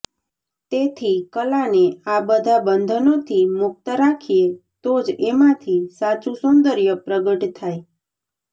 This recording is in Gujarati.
તેથી કલાને આ બધા બંધનોથી મુક્ત રાખીએ તો જ એમાંથી સાચું સૌંદર્ય પ્રગટ થાય